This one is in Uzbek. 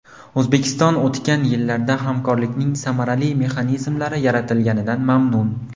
O‘zbekiston o‘tgan yillarda hamkorlikning samarali mexanizmlari yaratilganidan mamnun.